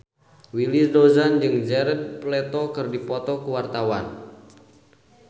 Willy Dozan jeung Jared Leto keur dipoto ku wartawan